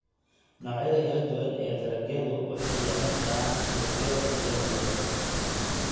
Noocyada kala duwan ee dalagyadu waxay yeelan karaan suuqyo kala duwan.